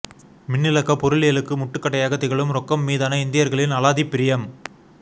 மின்னிலக்கப் பொருளியலுக்கு முட்டுக்கட்டையாகத் திகழும் ரொக்கம் மீதான இந்தியர்களின் அலாதி பிரியம்